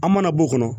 An mana bɔ o kɔnɔ